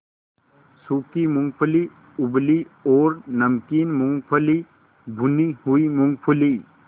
सूखी मूँगफली उबली और नमकीन मूँगफली भुनी हुई मूँगफली